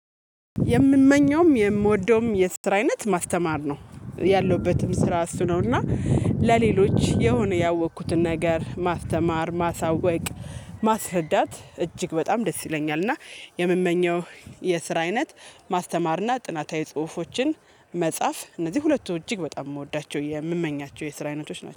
የምመኘውም የምወደውም የስራ አይነት ማስተማር ነው ያለሁበትም ስራ እሱ ነው። እና ለሌሎች የሆነ ያወኩትን ነገር ማስተማር ማሳወቅ ማስረዳት እጅግ በጣም ደስ ይለኛል። እና የምመኘው የስራ አይነት ማስተማርና ጥናታዊ ጽሁፎችን መጻፍ እነዚህ ሁለቱ እጅግ በጣም የምወዳቸው የምመኛቸው የስራ አይነቶች ናቸው